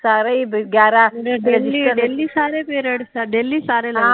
daily daily ਸਾਰੇ period daily ਸਾਰੇ ਲਗਦੇ ਵਾ